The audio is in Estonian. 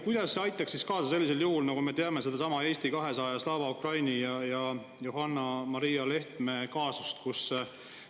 Kuidas see aitaks siis kaasa sellisel juhul, nagu on seesama Eesti 200, Slava Ukraini ja Johanna-Maria Lehtme kaasus?